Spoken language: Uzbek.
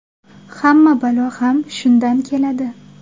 Hamma balo ham shundan keladi.